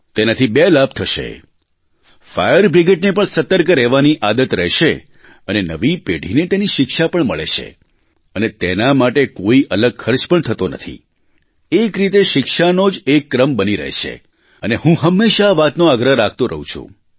તેનાથી બે લાભ થશે ફાયર બ્રિગેડને પણ સતર્ક રહેવાની આદત રહેશે અને નવી પેઢીને તેની શિક્ષા પણ મળે છે અને તેના માટે કોઇ અલગ ખર્ચ પણ થતો નથી એક રીતે શિક્ષાનો જ એક ક્રમ બની રહે છે અને હું હમેશા આ વાતનો આગ્રહ રાખતો રહું છું